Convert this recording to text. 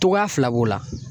Cogoya fila b'o la